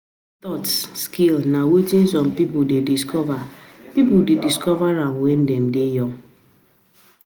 Self taught skill na wetin some pipo de discover pipo de discover um when um Dem de young